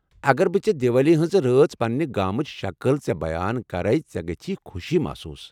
اگر بہٕ ژےٚ دیوالی ہنٛزِ رٲژ پننہِ گامٕچ شکٕل ژےٚ بیان کرٕے ژے٘ گژھی خوشی محصوص ۔